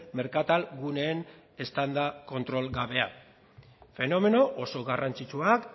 merkatalguneen eztanda kontrol gabea fenomeno oso garrantzitsuak